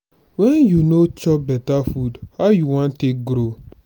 wen you no chop beta food how you wan take grow?